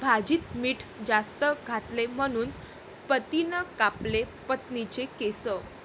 भाजीत मीठ जास्त घातले म्हणून पतीनं कापले पत्नीचे केस!